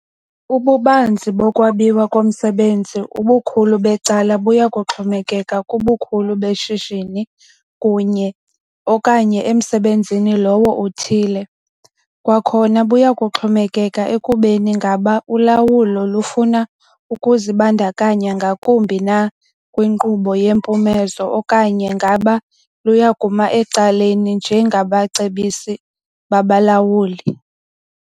Ububanzi bokwabiwa komsebenzi ubukhulu becala buya kuxomekeka kubukhulu beshishini kunye - okanye emsebenzini lowo uthile. Kwakhona buya kuxhomekeka ekubeni ngaba ulawulo lufuna ukuzibandakanya ngakumbi na kwinkqubo yempumezo, okanye ngaba luya kuma ecaleni njengabacebisi babalawuli.